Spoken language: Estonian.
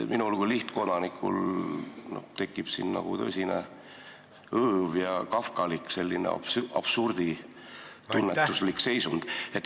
Minul kui lihtkodanikul tekib nagu tõsine õõv ja selline kafkalik absurditunnetuslik seisund.